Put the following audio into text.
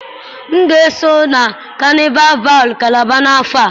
M ga-esonye na kanịval val kalaba n'afọ a